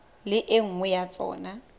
le e nngwe ya tsona